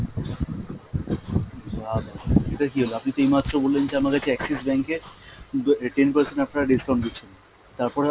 এটা কী হল, আপনি তো এই মাত্র বললেন যে আমার কাছে Axis bank এ ten percent আপনারা discount দিচ্ছেন। তারপরে